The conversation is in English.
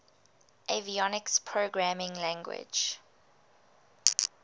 avionics programming language